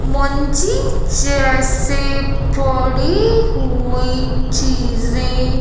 जैसे पड़ी हुई चीजे--